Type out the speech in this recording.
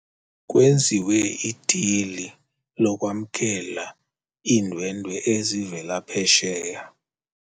Kwenziwe idili lokwamkela iindwendwe ezivela phesheya.